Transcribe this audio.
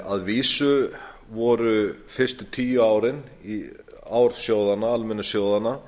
að vísu voru fyrstu tíu ár almennu sjóðanna